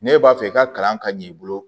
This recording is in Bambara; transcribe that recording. Ne b'a fɛ i ka kalan ka ɲin i bolo